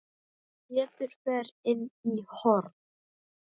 Pétur fer inn í horn.